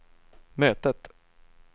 mötet